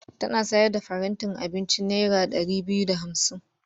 Tana sayar da farantin abinci naira ɗari biyu da hamsin.